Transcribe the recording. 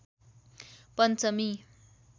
पञ्चमी